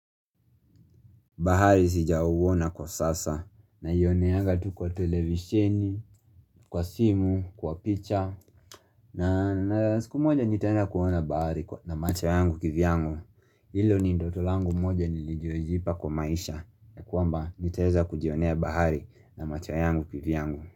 Bahari sijauona kwa sasa naioneanga tu kwa televisheni, kwa simu, kwa picha na siku moja nitaenda kuona bahari na macho yangu kivyangu Hilo ni ndoto langu moja niliyojipa kwa maisha. Ya kwamba nitaweza kujionea bahari na macho yangu kivyangu.